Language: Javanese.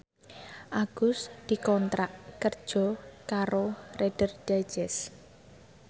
Agus dikontrak kerja karo Reader Digest